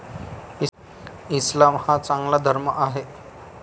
इस्लाम हा चांगला धर्म आहे.